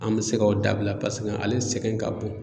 An mi se ka o dabila paseke ale sɛgɛn ka bon.